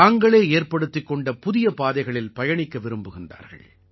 தாங்களே ஏற்படுத்திக் கொண்ட புதிய பாதைகளில் பயணிக்க விரும்புகிறார்கள்